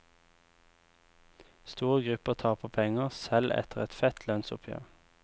Store grupper taper penger, selv etter et fett lønnsoppgjør.